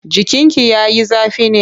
Jikinki ya yi zafi ne?